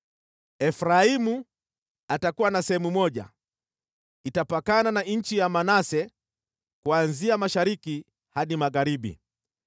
“Efraimu atakuwa na sehemu moja, itapakana na nchi ya Manase kuanzia mashariki hadi magharibi.